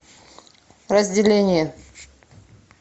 разделение